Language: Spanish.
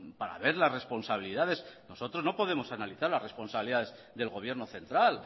para ver las responsabilidades nosotros no podemos analizar las responsabilidades del gobierno central